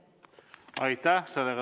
Aitäh!